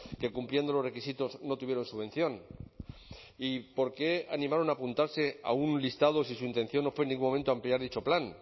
que cumpliendo los requisitos no tuvieron subvención y por qué animaron a apuntarse a un listado si su intención no fue en ningún momento ampliar dicho plan